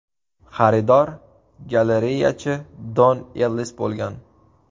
Xaridor galereyachi Don Ellis bo‘lgan.